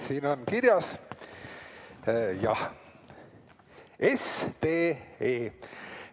Siin on kirjas SDE.